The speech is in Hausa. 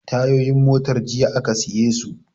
Tayoyin motar jiya aka siye su